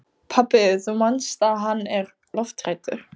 Pabbi, þú manst að hann er lofthræddur.